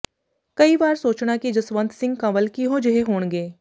ਕਈ ਵਾਰ ਸੋਚਣਾ ਕਿ ਜਸਵੰਤ ਸਿੰਘ ਕੰਵਲ ਕਿਹੋ ਜਿਹੇ ਹੋਣਗੇ